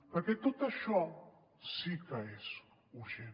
perquè tot això sí que és urgent